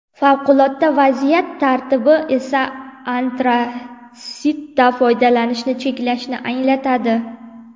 Favqulodda vaziyat tartibi esa antratsitdan foydalanishni cheklashni anglatadi.